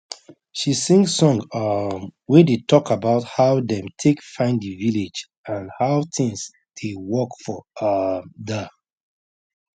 she sing song um wey dey talk about how dem take find the village and how things dey work for um der